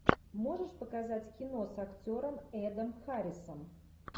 можешь показать кино с актером эдом харрисом